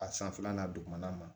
A sanfɛla dugumana ma